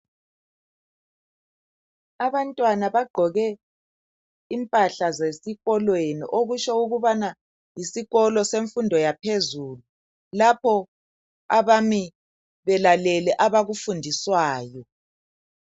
Abantwana baqoke impahla zesikolweni okutsho ukubana yisikolo semfundo yaphezulu. Bamile balalele abakufundiswayo.